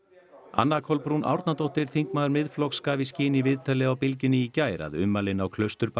anna Kolbrún Árnadóttir þingmaður Miðflokks gaf í skyn í viðtali á Bylgjunni í gær að ummælin á